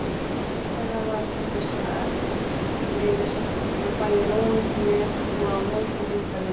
Heimsókn þeirra varð til þess að eftirleiðis var bæði róið með og á móti heimferðinni.